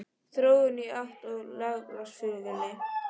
Þróun í átt að lággjaldaflugfélagi?